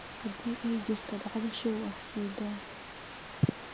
hadii ay jirto dhacdo show ah sii daa